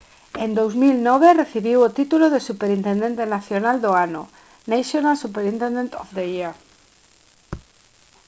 en 2009 recibiu o título de superintendente nacional do ano national superintendent of the year